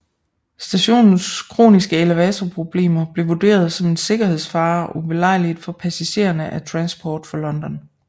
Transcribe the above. Stationens kroniske elevatorproblemer blev vurderet som en sikkerhedsfare og ubelejligt for passagerne af Transport for London